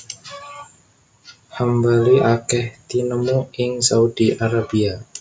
Hambali akèh tinemu ing Saudi Arabia